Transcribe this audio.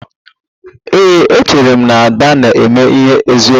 Ee, echere m na Ada na-eme ihe n'eziokwu